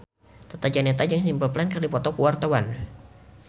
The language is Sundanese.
Tata Janeta jeung Simple Plan keur dipoto ku wartawan